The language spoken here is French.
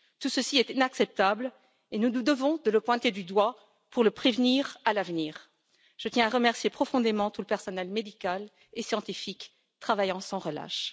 Tout cela est inacceptable et nous nous devons de le pointer du doigt pour le prévenir à l'avenir. Je tiens aussi à remercier profondément tout le personnel médical et scientifique qui travaille sans relâche.